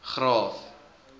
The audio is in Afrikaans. graaff